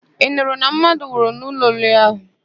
Ị nụrụ na mmadụ nwụrụ n'ụlọ oriri ahụ?